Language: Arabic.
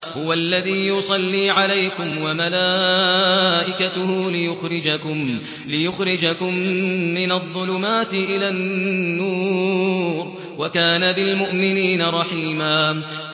هُوَ الَّذِي يُصَلِّي عَلَيْكُمْ وَمَلَائِكَتُهُ لِيُخْرِجَكُم مِّنَ الظُّلُمَاتِ إِلَى النُّورِ ۚ وَكَانَ بِالْمُؤْمِنِينَ رَحِيمًا